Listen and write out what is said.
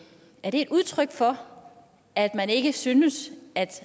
er det et udtryk for at man ikke synes